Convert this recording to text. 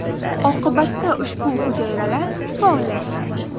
Oqibatda ushbu hujayralar faollashgan.